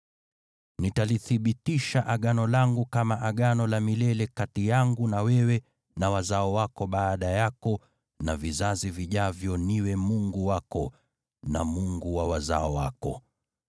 Nitalithibitisha Agano langu kama Agano la milele kati yangu na wewe na wazao wako baada yako na vizazi vijavyo niwe Mungu wako na Mungu wa wazao wako.